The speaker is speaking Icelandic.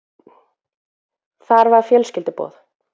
Þar var fjölskylduboð.